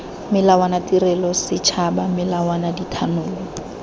melawana tirelo setšhaba melawana dithanolo